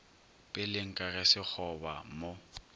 peleng ka ge sekgoba mo